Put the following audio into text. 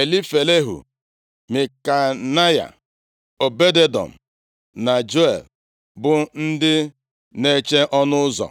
Elifelehu, Mikneya, Obed-Edọm na Jeiel bụ ndị na-eche ọnụ ụzọ.